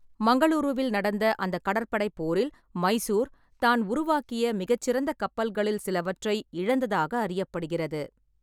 மங்களூருவில் நடந்த அந்த கடற்படைப் போரில் மைசூர் தான் உருவாக்கிய மிகச் சிறந்த கப்பல்களில் சிலவற்றை இழந்ததாக அறியப்படுகிறது.